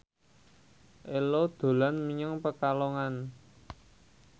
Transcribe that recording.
Ello dolan menyang Pekalongan